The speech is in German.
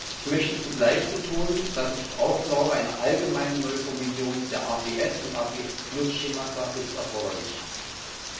Ich möchte zugleich betonen, dass ich auch glaube, dass eine allgemeine neue Formulierung der APS und APS Schemata erforderlich ist.